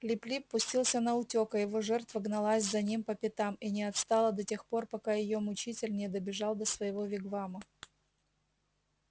лип лип пустился наутёк а его жертва гналась за ним по пятам и не отстала до тех пор пока её мучитель не добежал до своего вигвама